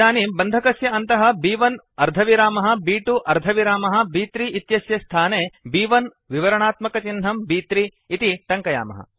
इदानीं बन्धकस्य अन्तः ब्1 अर्धविरामः ब्2 अर्धविरामः ब्3 इत्यस्य स्थाने ब्1 विवरणात्मकचिह्नं ब्3 इति टङ्कयामः